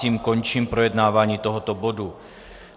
Tím končím projednávání tohoto bodu.